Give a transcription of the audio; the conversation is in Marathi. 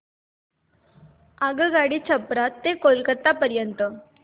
आगगाडी छपरा ते कोलकता पर्यंत